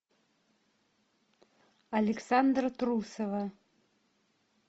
александра трусова